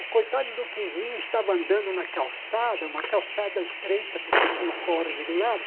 O coitado do Quinzinho estava andando na calçada, uma calçada estreita, porque tinha o córrego do lado.